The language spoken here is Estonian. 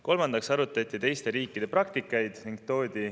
Kolmandaks arutati teiste riikide praktika üle.